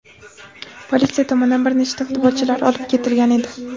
politsiya tomonidan bir nechta futbolchilar olib ketilgan edi.